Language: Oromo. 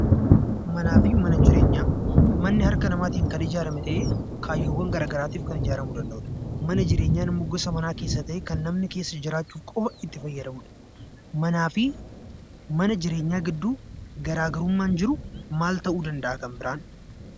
Manni harka namaatiin kan ijaarame ta'ee, kaayyoowwan gara garaatiif kan ijaaramuu danda'udha. Mana jireenyaan immoo gosa mana keessaa ta'ee kan namni keessa jiraachuuf qofa itti fayyadamudha. Manaa fi mana jireenyaa gidduu garaagarummaan jiru maal ta'uu danda'a kan biraan?